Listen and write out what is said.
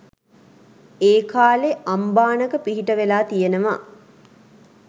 ඒ කාලේ අම්බානක පිහිට වෙලා තියනවා.